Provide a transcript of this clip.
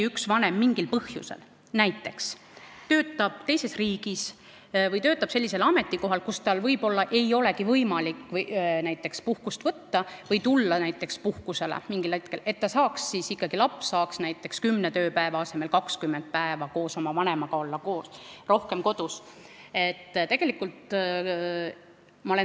See ettepanek oli ikkagi kantud siirast murest, et kui näiteks üks vanem mingil põhjusel töötab teises riigis või sellisel ametikohal, kus tal võib-olla ei olegi võimalik puhkust võtta või mingil hetkel puhkust saada, et siis ikkagi laps saaks kümne tööpäeva asemel 20 päeva oma vanemaga koos olla.